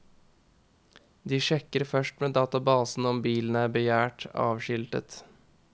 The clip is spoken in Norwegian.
De sjekker først med databasen om bilen er begjært avskiltet.